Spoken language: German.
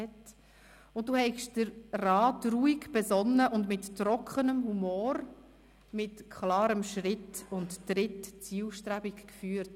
Du habest den Rat ruhig, besonnen und mit trockenem Humor, mit klarem Schritt und Tritt zielstrebig geführt.